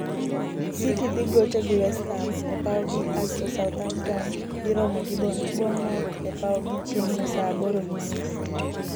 city dhi gocho gi westham e pawgi asto south hampton dhi romo gi Bournemouth e pawgi chieng'no saa abirio gi nus